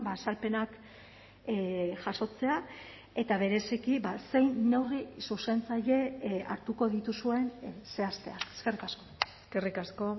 azalpenak jasotzea eta bereziki zein neurri zuzentzaile hartuko dituzuen zehaztea eskerrik asko eskerrik asko